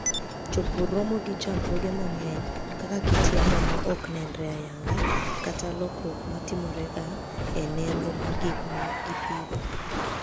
Jopur romo gi chandruoge mang'eny, kaka kit yamo ma ok nenre ayanga, kata lokruok ma timorega e nengo mag gik ma gipidho.